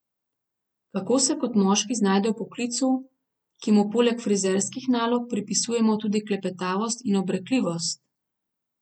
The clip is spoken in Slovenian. Kako se kot moški znajde v poklicu, ki mu poleg frizerskih nalog pripisujemo tudi klepetavost in obrekljivost?